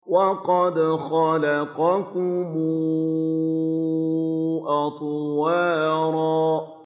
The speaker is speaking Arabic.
وَقَدْ خَلَقَكُمْ أَطْوَارًا